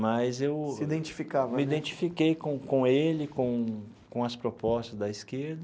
Mas eu. Se identificava. Me identifiquei com com ele, com com as propostas da esquerda.